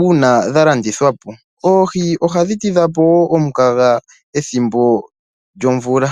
uuna dha landithwa po. Oohi ohadhi tidha po wo omukaga pethimbo lyomvula.